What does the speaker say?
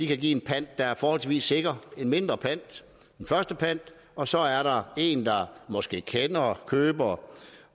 kan give en pant der er forholdsvis sikker en mindre pant en førstepant og så er der en der måske kender køber